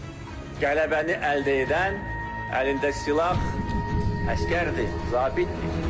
qələbəni əldə edən, əlində silah əsgərdir, zabitdir.